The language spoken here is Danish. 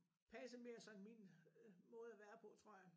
Passer mere sådan min måde at være på tror jeg